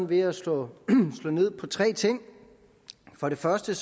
ved at slå ned på tre ting for det første